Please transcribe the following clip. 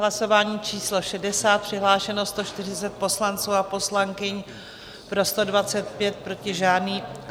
Hlasování číslo 60, přihlášeno 140 poslanců a poslankyň, pro 125, proti žádný.